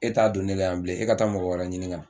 E t'a don ne la yan bilen e ka taa mɔgɔ wɛrɛ ɲini ka na